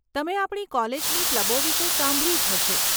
તમે આપણી કોલેજની ક્લબો વિશે સાંભળ્યું જ હશે.